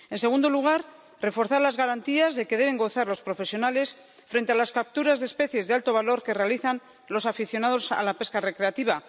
En segundo lugar, reforzar las garantías de que deben gozar los profesionales frente a las capturas de especies de alto valor que realizan los aficionados a la pesca recreativa.